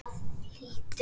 Það hlýtur að vera gaman?